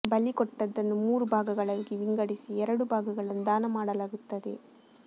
ಬಲಿ ಕೊಟ್ಟದ್ದನ್ನು ಮೂರು ಭಾಗಗಳಾಗಿ ವಿಂಗಡಿಸಿ ಎರಡು ಭಾಗಗಳನ್ನು ದಾನ ಮಾಡಲಾಗುತ್ತದೆ